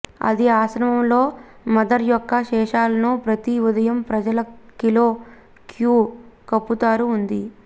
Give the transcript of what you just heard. అది ఆశ్రమంలో లో మదర్ యొక్క శేషాలను ప్రతి ఉదయం ప్రజల కిలో క్యూ కప్పుతారు ఉంది